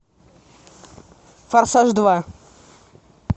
форсаж два